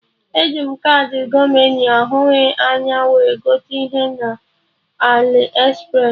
E ji m kaadị Gomoney ahụghị anya wee gote ihe na Aliexpress